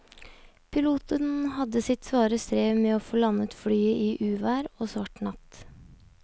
Piloten hadde sitt svare strev med å få landet flyet i uvær og svart natt.